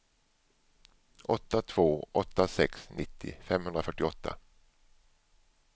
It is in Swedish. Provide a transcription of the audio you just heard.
åtta två åtta sex nittio femhundrafyrtioåtta